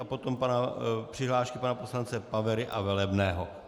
A potom přihlášku pana poslance Pavery a Velebného.